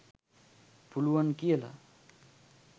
පුලුවන් කියල